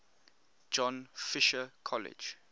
john fisher college